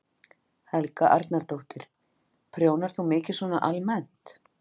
Helga Arnardóttir: Prjónar þú mikið svona almennt?